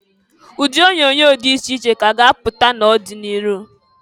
Ụdị onyoonyo dị iche iche ka a ga-apụta n'ọdị n'iru.